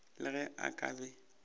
le ge a ka be